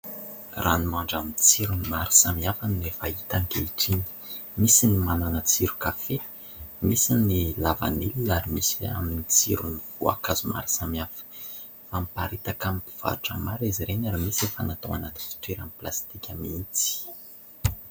Ranomandry amin'ny tsirony maro samihafa no efa hita ankehitriny : misy ny manana tsiro kafe, misy ny lavanilona ary misy amin'ny tsirony voankazo maro samihafa. Amparitaka amin'ny mpivarotra maro izy ireny, ary misy efa natao anaty fitoerany plastika mihitsy.